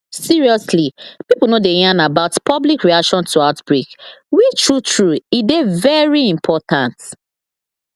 seriously pipo no dey yarn about public reaction to outbreak which true true e dey very important